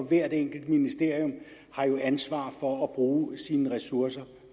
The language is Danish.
hvert enkelt ministerium har jo ansvar for at bruge sine ressourcer